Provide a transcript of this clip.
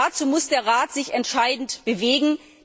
Dazu muss der Rat sich entscheidend bewegen.